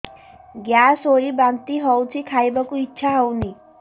gas ହୋଇ ବାନ୍ତି ହଉଛି ଖାଇବାକୁ ଇଚ୍ଛା ହଉନି